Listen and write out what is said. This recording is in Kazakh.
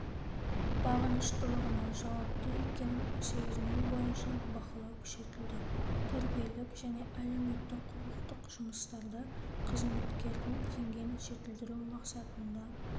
бағыныштылығына жауапты екенін сезіну бойынша бақылау күшейтілді тәрбиелік және әлеуметтік-құқықтық жұмыстарда қызметкедің деңгейін жетілдіру мақсатында